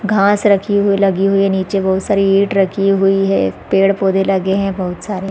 घाँस रखी हुई लगी हुई है नीचे बहुत सारी ईंट रखी हुई है पेड़-पौधे लगे है बहुत सारे--